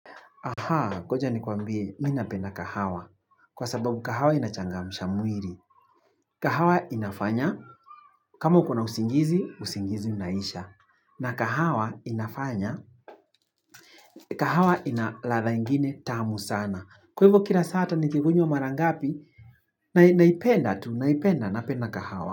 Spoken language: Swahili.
Aha, ngoja ni kwambie, mimi napenda kahawa. Kwa sababu kahawa inachangamusha mwili. Kahawa inafanya, kama ukona usingizi, usingizi unaisha. Na kahawa inafanya, kahawa inaradha ingine tamu sana. Kwa hivyo kila saa hata nikikunywa mara ngapi, naipenda tu, naipenda, napena kahawa.